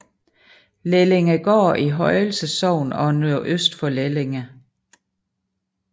Lellingegaard i Højelse Sogn og nordøst for Lellinge